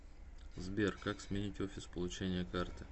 сбер как сменить офис получения карты